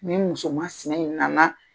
Ni muso mansinɛ in na na.